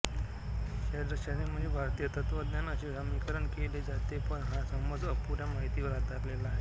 षड्दर्शने म्हणजे भारतीय तत्त्वज्ञान असे समीकरण केले जाते पण हा समज अपुऱ्या माहितीवर आधारलेला आहे